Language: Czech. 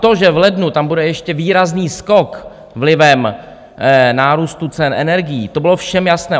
To, že v lednu tam bude ještě výrazný skok vlivem nárůstu cen energií, to bylo všem jasné.